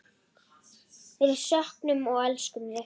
Við söknum og elskum þig.